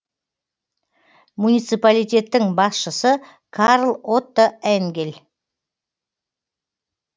муниципалитеттің басшысы карл отто энгель